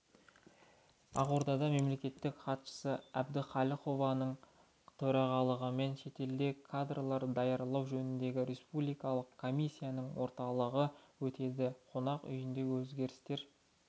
ақордада мемлекеттік хатшысы әбдіқалықованың төрағалығымен шетелде кадрлар даярлау жөніндегі республикалық комиссияның отырысы өтеді қонақ үйінде өзгерістер